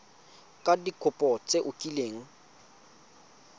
ka dikopo tse o kileng